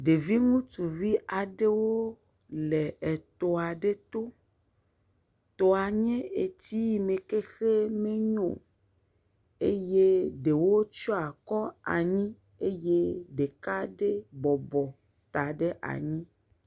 Ɖevi ŋutsuvi aɖewo le etɔa ɖe to. Tɔa nye etsi yi me k exe menyo eye ɖewo tsyɔ akɔ anyi eye ɖeka ɖe bɔbɔ ta ɖe anyi.